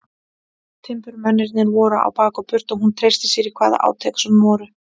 Timburmennirnir voru á bak og burt og hún treysti sér í hvaða átök sem voru.